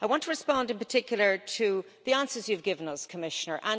I want to respond in particular to the answers you've given us, Commissioner.